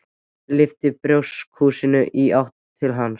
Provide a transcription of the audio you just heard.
og lyfti bjórkrúsinni í átt til hans.